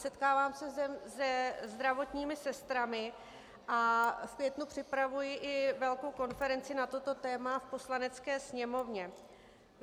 Setkávám se se zdravotními sestrami a v květnu připravuji i velkou konferenci na toto téma v Poslanecké sněmovně.